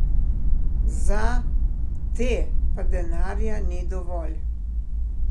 Za te pa denarja ni dovolj.